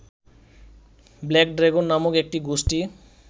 black dragon নামক একটি গোষ্ঠী